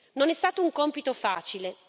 Non è stato un compito facile.